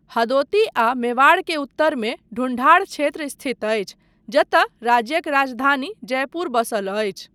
हदोती आ मेवाड़ के उत्तरमे ढूंढाड़ क्षेत्र स्थित अछि जतय राज्यक राजधानी जयपुर बसल अछि।